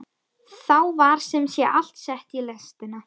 Þá var sem sé allt sett í lestina.